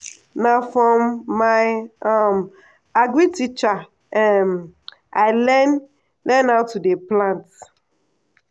na from my um agric teacher um i learn learn how to dey plant. um